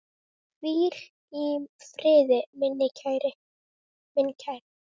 Hvíl í friði, minn kæri.